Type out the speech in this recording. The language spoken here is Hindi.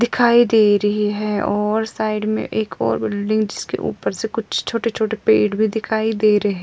दिखाई दे रखी है साइड में एक और बिल्डिंग जिसके ऊपर से कुछ छोटे-छोटे पड़े भी दिखाई दे रही है|